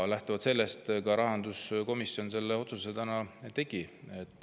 Lähtuvalt sellest ka rahanduskomisjon selle otsuse täna tegi.